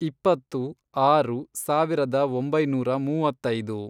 ಇಪ್ಪತ್ತು, ಆರು, ಸಾವಿರದ ಒಂಬೈನೂರ ಮೂವತ್ತೈದು